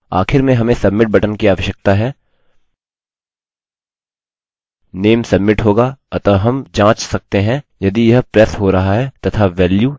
आखिर में हमें submit बटन की आवश्यकता है name submit होगा अतः हम जाँच सकते हैं यदि यह प्रेस हो रहा है तथा वेल्यू change password होगी